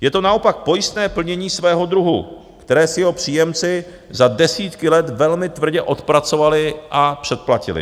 Je to naopak pojistné plnění svého druhu, které si jeho příjemci za desítky let velmi tvrdě odpracovali a předplatili.